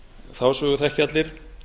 þá sögu þekkja allir